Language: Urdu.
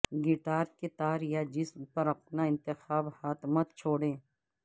گٹار کے تار یا جسم پر اپنا انتخاب ہاتھ مت چھوڑیں